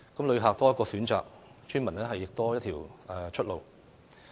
旅客多一個選擇，村民亦多一條出路。